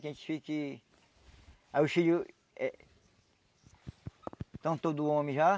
Que a gente fique... Aí os filhos eh... estão todos homens já.